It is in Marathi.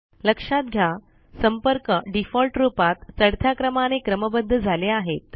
लक्षात घ्या संपर्क डिफ़ॉल्ट रुपात चढत्या क्रमाने क्रमबद्ध झाले आहेत